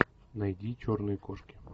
найди черные кошки